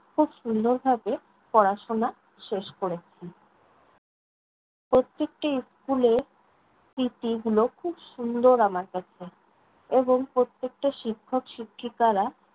খুব সুন্দরভাবে পড়াশোনা শেষ করেছি। প্রত্যেকটা school এর স্মৃতিগুলো খুব সুন্দর আমার কাছে এবং প্রত্যেকটা শিক্ষক-শিক্ষিকারা